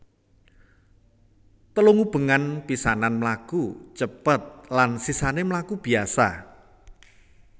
Telung ubengan pisanan mlaku cepet lan sisané mlaku biasa